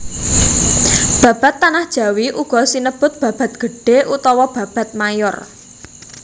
Babad Tanah Jawi uga sinebut babad gedhé utawa babad mayor